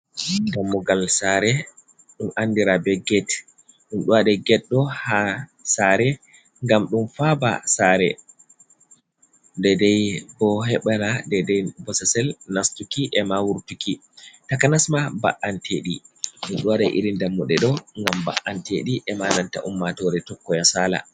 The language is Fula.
Dammugal saare, ɗum andira be get. Ɗum ɗo waɗe get bo ha saare ngam ɗo faaba saare. Dedei bo heɓira dedei bososel nastuki e ma wurtuki, takanas ma ba’antedi. Ɗum ɗo waɗe irin dammuɗe ɗo ngam mba’anteɗi, e ma nanta ummaatore tokkoya sala.